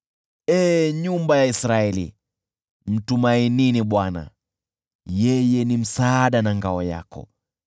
Ee nyumba ya Israeli, mtumainini Bwana , yeye ni msaada na ngao yao.